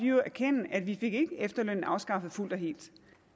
jo erkende at vi ikke fik efterlønnen afskaffet fuldt og helt